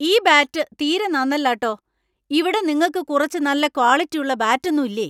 ഈ ബാറ്റ് തീരെ നന്നല്ല ട്ടോ. ഇവിടെ നിങ്ങക്ക് കുറച്ച് നല്ല ക്വാളിറ്റി ഉള്ള ബാറ്റൊന്നും ഇല്ലേ?